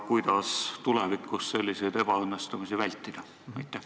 Kuidas tulevikus selliseid ebaõnnestumisi vältida?